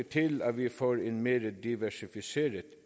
til at vi får en mere diversificeret